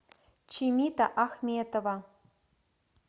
чимита ахметова